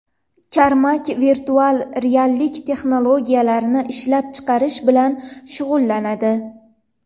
Karmak virtual reallik texnologiyalarini ishlab chiqarish bilan shug‘ullanadi.